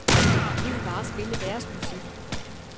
De vil bare spille deres musik.